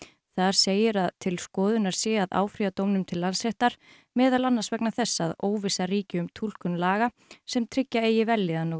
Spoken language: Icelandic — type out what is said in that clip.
þar segir að til skoðunar sé að áfrýja dómnum til Landsréttar meðal annars vegna þess að óvissa ríki um túlkun laga sem tryggja eigi vellíðan og